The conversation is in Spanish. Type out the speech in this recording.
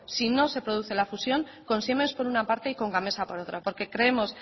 si no se produce la fusión con siemens por una parte y con gamesa por otra porque creemos